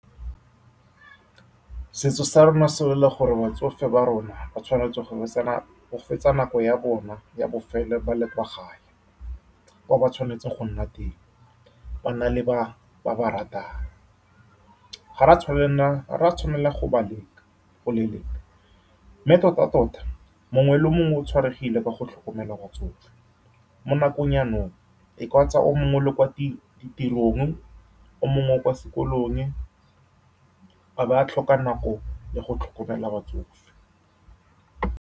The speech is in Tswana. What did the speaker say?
Setso sa rona se lwela gore batsofe ba rona ba tshwanetse go go fetsa nako ya bona ya bofelelo ba le kwa gae, kwa ba tshwanetseng go nna teng, ba nna le ba baratang. Ga rea tshwanela, ga rea tshwanela go ba leka, go leleka, mme tota-tota, mongwe le mongwe o tshwaregile ka go tlhokomela batsofe mo nakong jaanong. E mongwe le kwa ditirong, o mongwe o kwa sekolong, a ba a tlhoka nako le go tlhokomela batsofe.